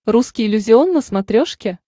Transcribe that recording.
русский иллюзион на смотрешке